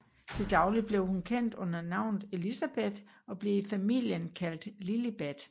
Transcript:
Til daglig var hun kendt under navnet Elizabeth og blev i familien kaldt Lilibet